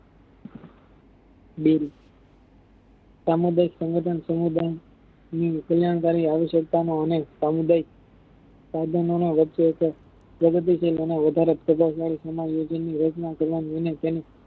bill સામુદાયિક સંગઠન સમુદાય ની કલ્યાણ કરી આવશ્યકતાનો અને સામુદાયિક સાધનોનો પ્રગતિ શીલ અને વધારે રાચ કરવાનું અને તેમ